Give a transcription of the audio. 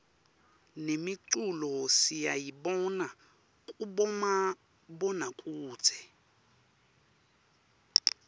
nemiculo siyayibona kubomabonakudze